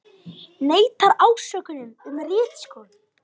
Neitar ásökunum um ritskoðun